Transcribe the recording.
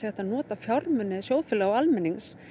að nota fjármuni sjóðfélaga og almennings